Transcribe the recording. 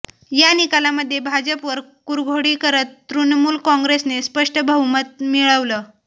या निकालामध्ये भाजपवर कुरघोडी करत तृणमूल काँग्रेसने स्पष्ट बहुमत मिळवलं